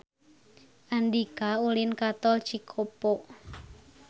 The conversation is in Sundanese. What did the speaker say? Andika ulin ka Tol Cikopo